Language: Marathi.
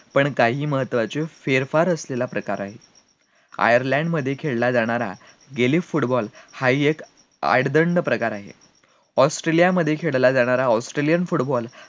पण काही महत्वाचे फेरफार असलेला प्रकार आहे, आयर्लंड मध्ये खेळला जाणारा football हा हि एक आडदांड प्रकार आहे, ऑस्ट्रेलिया मध्ये खेळला जाणारा australian football